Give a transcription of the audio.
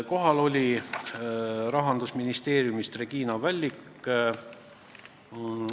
Kohal oli Rahandusministeeriumist Regina Vällik.